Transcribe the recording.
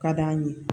Ka d'an ye